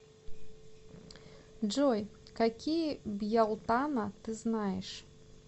джой какие бьялтана ты знаешь